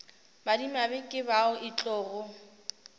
madimabe ke bao e tlogo